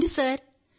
అవును సార్